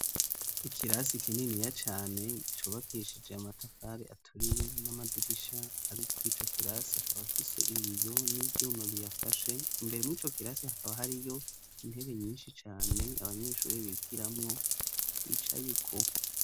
Ikirasi kininiya cane cubakeshije amatafari aturiye, n'amadirisha ariko ico kirasi akaba afise ibiyo n'ivyuma biyafashe ,imbere mwico kirasi akaba hari yo intebe nyinshi cane, Abanyeshuri bigiramwo bicayeko